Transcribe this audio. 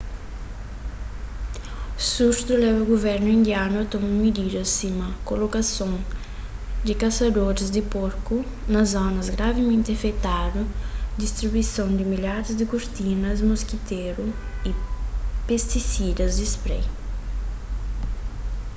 surtu leba guvernu indianu a toma mididas sima kolokason di kasadoris di porku na zonas gravimenti afetadu distribuison di milharis di kurtinas moskitéru y pestisidas di sprai